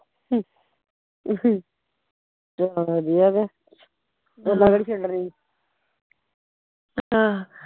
ਹਮ ਚਲੋ ਵਧੀਆ ਕੇ ਓਦਾ ਕਿਹੜੇ ਛੱਡਣੇ ਸੀ ਆਹ